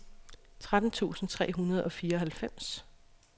tretten tusind tre hundrede og fireoghalvfems